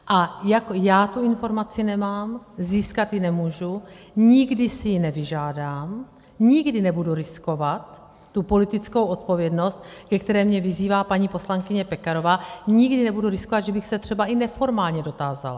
A jak já tu informaci nemám, získat ji nemůžu, nikdy si ji nevyžádám, nikdy nebudu riskovat tu politickou odpovědnost, ke které mě vyzývá paní poslankyně Pekarová, nikdy nebudu riskovat, že bych se třeba i neformálně dotázala.